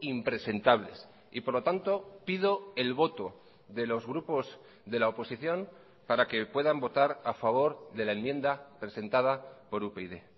impresentables y por lo tanto pido el voto de los grupos de la oposición para que puedan votar a favor de la enmienda presentada por upyd